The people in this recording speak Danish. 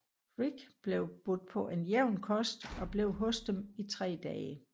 Rig blev budt på en jævn kost og blev hos dem i tre dage